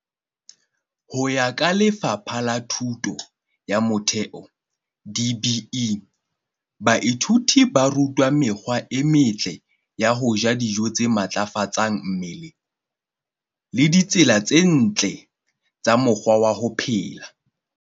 Ho ya ka Lefapha la Thuto ya Motheo, DBE, baithuti ba rutwa mekgwa e metle ya ho ja dijo tse matlafatsang mmele le ditsela tse ntle tsa mokgwa wa ho phela.